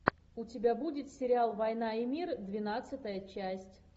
у тебя будет сериал война и мир двенадцатая часть